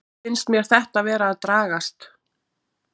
Finnst mér þetta vera að dragast?